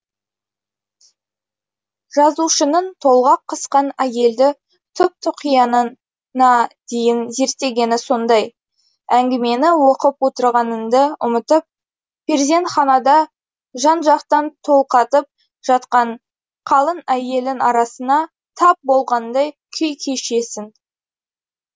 жазушының толғақ қысқан әйелді түп тұқиянына дейін зерттегені сондай әңгімені оқып отырғаныңды ұмытып перзентханада жан жақтан толғатып жатқан қалың әйелдің арасына тап болғандай күй кешесің